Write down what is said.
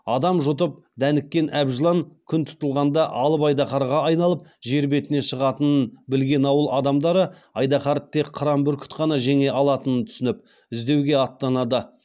адам жұтып дәніккен әбжылан күн тұтылғанда алып айдаһарға айналып жер бетіне шығатынын білген ауыл адамдары айдаһарды тек қыран бүркіт қана жеңе алатынын түсініп іздеуге аттанады